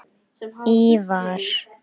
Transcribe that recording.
Ívar